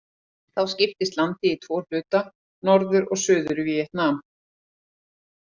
Þá skiptist landið í tvo hluta, Norður- og Suður-Víetnam.